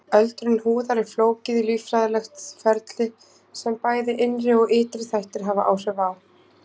Öldrun húðar er flókið líffræðilegt ferli sem bæði innri og ytri þættir hafa áhrif á.